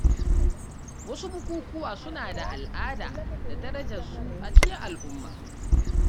Wasu bukukuwa suna da al’ada da darajar su a cikin al’umma.